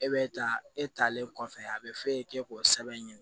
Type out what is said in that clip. E bɛ taa e talen kɔfɛ a bɛ f'e k'o sɛbɛn ɲini